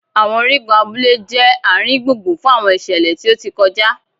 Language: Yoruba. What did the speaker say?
àwọn origun abule jẹ aringbungbun fun àwọn iṣẹlẹ ti o ti kọja.